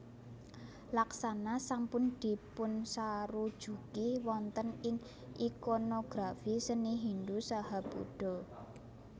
Laksana sampun dipunsarujuki wonten ing ikonografi seni Hindu saha Buddha